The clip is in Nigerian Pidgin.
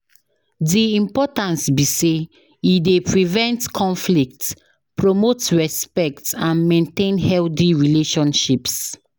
Di importance be say e dey prevent conflicts, promote respect and maintain healthy relationships.